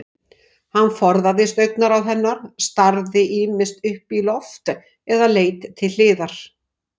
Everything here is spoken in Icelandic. Hann forðaðist augnaráð hennar, starði ýmist upp í loft eða leit til hliðar.